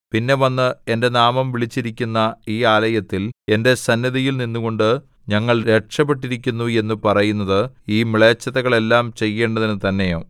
പിന്നെ വന്ന് എന്റെ നാമം വിളിച്ചിരിക്കുന്ന ഈ ആലയത്തിൽ എന്റെ സന്നിധിയിൽ നിന്നുകൊണ്ട് ഞങ്ങൾ രക്ഷപെട്ടിരിക്കുന്നു എന്നു പറയുന്നത് ഈ മ്ലേച്ഛതകളെല്ലാം ചെയ്യേണ്ടതിന് തന്നെയോ